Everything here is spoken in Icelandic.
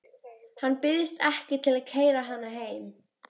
Hann býðst ekki til að keyra hana heim.